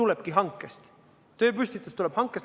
See aga tulebki hankest.